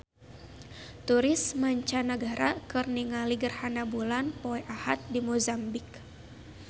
Turis mancanagara keur ningali gerhana bulan poe Ahad di Mozambik